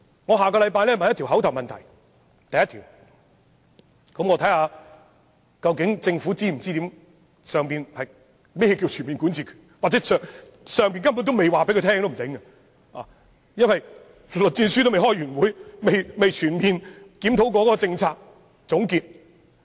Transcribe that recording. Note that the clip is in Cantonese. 我下星期會就此提出一項口頭質詢，且看政府是否理解中央所說的"全面管治權"，或許中央仍未告訴政府這是甚麼，因為栗戰書尚未開完會，未曾全面檢討政策和作出總結。